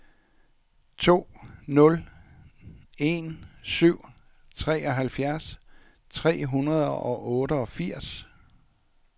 to nul en syv treoghalvfjerds tre hundrede og otteogfirs